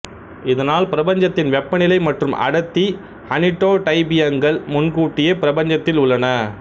இதனால் பிரபஞ்சத்தின் வெப்பநிலை மற்றும் அடர்த்தி அனிடோடைபியங்கள் முன்கூட்டியே பிரபஞ்சத்தில் உள்ளன